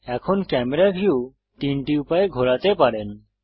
এখন camera view তিনটি উপায়ে ঘোরাতে পারেন